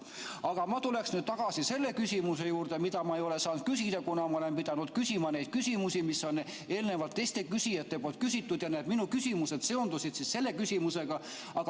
Aga ma tulen tagasi selle küsimuse juurde, mida ma ei ole saanud küsida, kuna ma olen pidanud küsima neid küsimusi, mis on eelnevalt teiste küsijate poolt küsitud ja need minu küsimused seondusid selle küsimusega.